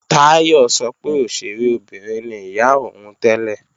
Táyọ̀ sọ pé òṣèré obìnrin ni ìyá òun tẹ́lẹ̀